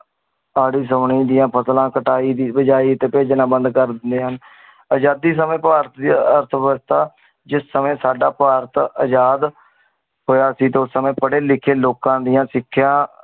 ਸਾਰੀ ਸ਼ੁਨੀ ਦੀਆਂ ਫਸਲਾਂ ਕਟਾਈ ਤੇ ਬਿਜਾਈ ਤੇ ਪੇਜ੍ਨਾ ਬੰਦ ਕਰ ਦਿੰਦੇ ਹਨ। ਆਜ਼ਾਦੀ ਸਮੇ ਭਾਰਤ ਦੀ ਅਰਥ ਵਿਵਸਥਾ ਜਿਸ ਸਮੇ ਸਾਡਾ ਭਾਰਤ ਅਜਾਦ ਹੋਇਆ ਸੀ ਉਸ ਸਮੇ ਪਡੇ ਲਿਖੇ ਲੋਕਾਂ ਦੀਆਂ ਸਿਖੀਆਂ